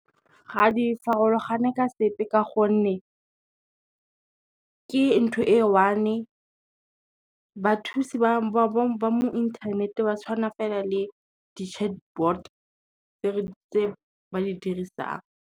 Ga di farologane ka sepe ka gonne, ke ntho e one, bathusi ba mo inthanete ba tshwana fela le di-chatbot tse ba di dirisang.